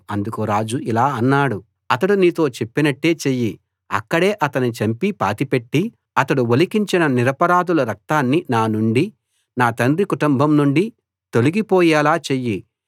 అందుకు రాజు ఇలా అన్నాడు అతడు నీతో చెప్పినట్టే చెయ్యి అక్కడే అతణ్ణి చంపి పాతిపెట్టి అతడు ఒలికించిన నిరపరాధుల రక్తాన్ని నా నుండీ నా తండ్రి కుటుంబం నుండీ తొలగిపోయేలా చెయ్యి